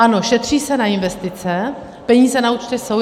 Ano, šetří se na investice, peníze na účtech jsou.